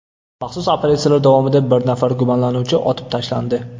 Maxsus operatsiyalar davomida bir nafar gumonlanuvchi otib tashlandi.